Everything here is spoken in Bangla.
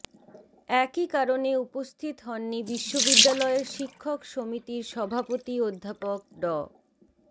একই কারণে উপস্থিত হননি বিশ্ববিদ্যালয়ের শিক্ষক সমিতির সভাপতি অধ্যাপক ড